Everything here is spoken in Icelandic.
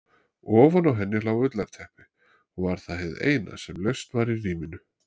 Ofan á henni lá ullarteppi og var það hið eina sem laust var í rýminu.